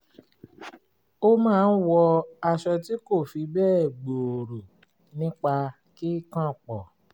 ó máa ń wọ aṣọ tí kò fi bẹ́ẹ̀ gbòòrò nípa kíkànpọ̀